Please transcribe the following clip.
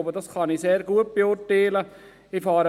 Ich denke, dass ich dies sehr gut beurteilen kann.